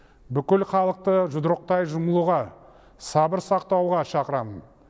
бүкіл халықты жұдырықтай жұмылуға сабыр сақтауға шақырамын